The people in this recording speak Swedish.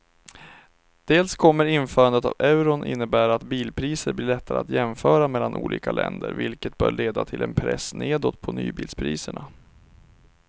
Dels kommer införandet av euron innebära att bilpriser blir lättare att jämföra mellan olika länder vilket bör leda till en press nedåt på nybilspriserna.